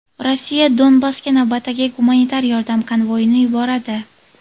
Rossiya Donbassga navbatdagi gumanitar yordam konvoyini yuboradi.